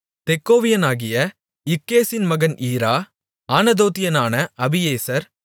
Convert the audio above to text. தெக்கோவியனாகிய இக்கேசின் மகன் ஈரா ஆனதோத்தியனான அபியேசர்